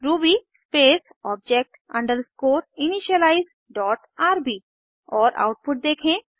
Ruby space object underscore initialize dot rb और output देखें